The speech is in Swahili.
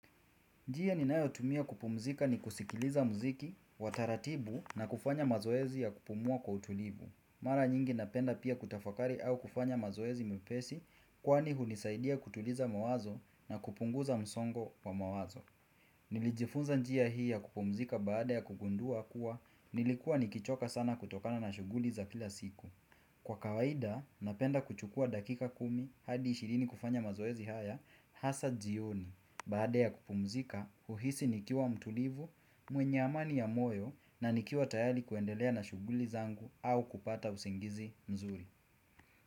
Njia ninayotumia kupumzika ni kusikiliza muziki, wa taratibu na kufanya mazoezi ya kupumua kwa utulivu. Mara nyingi napenda pia kutafakari au kufanya mazoezi mepesi kwani hunisaidia kutuliza mawazo na kupunguza msongo wa mawazo. Nilijifunza njia hii ya kupumzika baada ya kugundua kuwa nilikuwa nikichoka sana kutokana na shughuli za kila siku. Kwa kawaida, napenda kuchukua dakika kumi hadi ishirini kufanya mazoezi haya, hasa jioni, baada ya kupumzika, huhisi nikiwa mtulivu, mwenye amani ya moyo na nikiwa tayali kuendelea na shughuli zangu au kupata usingizi mzuri.